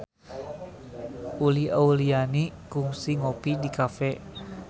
Uli Auliani kungsi ngopi di cafe